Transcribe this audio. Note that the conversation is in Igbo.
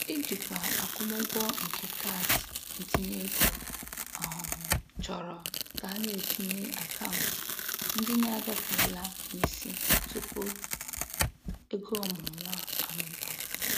Ijikwa akwụmụgwọ nke kaadị ntinyeego um chọrọ ka a na-etinye akaụntụ ndị na-agafeela n'isi tupu ego ọmụrụnwa amụbawa.